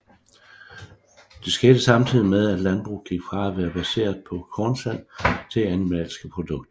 Det skete samtidig med at landbruget gik fra at være baseret på kornsalg til animalske produkter